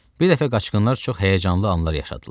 Bir dəfə qaçqınlar çox həyəcanlı anlar yaşadılar.